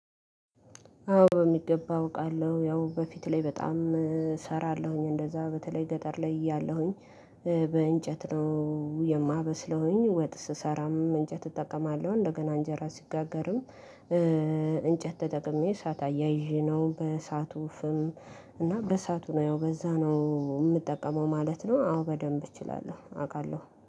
አዎ በሚገባ አውቃለሁ ያው በፊት ላይ በጣም እሰራለሁኝ እንደዛ በተለይ ገጠር ላይ እያለሁኝ። በእንጨት ነው የማበስለውኝ ወጥ ስሰራም እንጨት እጠቀማለሁ እንደገና እንጀራ ሲጋገርም። እንጨት ተጠቅሜ እሳት አያይዤ ነው በእሳቱ ፍም እና በእሳቱ ነው ያው በዛ ነው የምጠቀመው ማለት ነው። አዎ በደንብ እችላለሁ አውቃለሁ